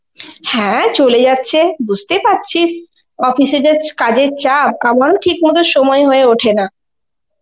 হ্যাঁ চলে যাচ্ছে, বুঝতেই পারছিস office এ যে কাজের চাপ আমারও ঠিকমতো সময় হয়ে ওঠে না.